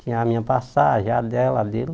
Tinha a minha passagem, a dela, a dele.